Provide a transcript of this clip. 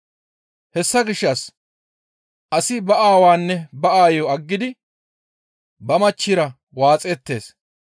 Hessa gishshas asi ba aawaanne ba aayo aggidi ba machchira waaxettees.